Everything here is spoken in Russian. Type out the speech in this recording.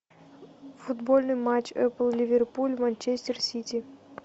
футбольный матч эпл ливерпуль манчестер сити